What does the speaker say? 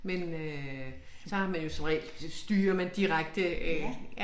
Men øh så har man jo som regel styrer man direkte øh